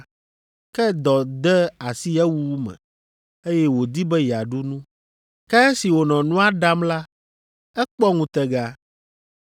Ke dɔ de asi ewuwu me, eye wòdi be yeaɖu nu, ke esi wònɔ nua ɖam la, ekpɔ ŋutega.